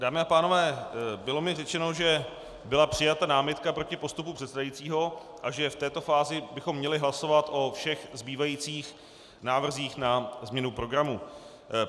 Dámy a pánové, bylo mi řečeno, že byla přijata námitka proti postupu předsedajícího a že v této fázi bychom měli hlasovat o všech zbývajících návrzích na změnu programu.